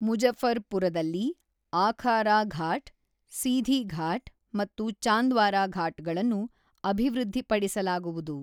ಮುಜಫರ್ ಪುರದಲ್ಲಿ ಆಖಾರ ಘಾಟ್, ಸೀಧಿ ಘಾಟ್ ಮತ್ತು ಚಂದ್ವಾರಾ ಘಾಟ್ ಗಳನ್ನು ಅಭಿವೃದ್ಧಿಪಡಿಸಲಾಗುವುದು.